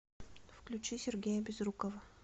включи сергея безрукова